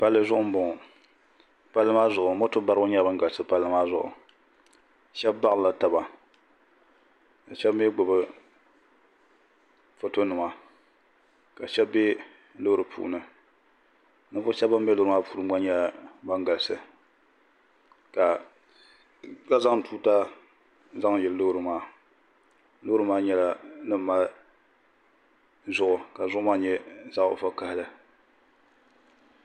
palizuɣ' n bɔŋɔ pali maa zuɣ' mɔto bariba nyɛla bɛn galisi pali maa zuɣ' shɛba balirila taba ka shɛbi mi gbabi ƒɔtonima ka shɛbi bɛ lori puuni ninvuɣ' shɛb ban bɛ lori puuni ŋɔ nyɛla ban galisi ka zaŋ tuuta zaŋ yili lori maa lori maa nyɛla din mali zuɣ' ka zuɣ' nyɛ zaɣ' vakahili